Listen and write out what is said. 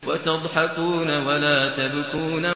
وَتَضْحَكُونَ وَلَا تَبْكُونَ